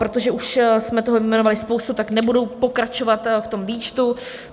Protože už jsme toho vyjmenovali spoustu, tak nebudu pokračovat v tom výčtu.